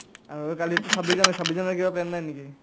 আৰু কালিটো ছাব্বিশ জানুৱাৰী ছাব্বিশ জানুৱাৰীৰ কিবা plan নাই নেকি ?